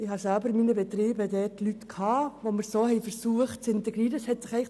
Ich hatte selber Personen in meinen Betrieben, die wir auf diese Weise zu integrieren versuchten.